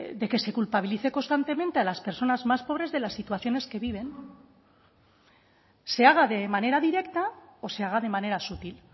de que se culpabilice constantemente a las personas más pobres de las situaciones que viven se haga de manera directa o se haga de manera sutil